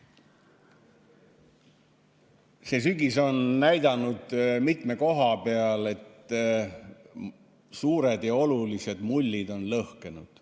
See sügis on näidanud mitme koha peal, et suured ja olulised mullid on lõhkenud.